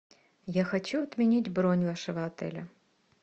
я хочу отменить бронь вашего отеля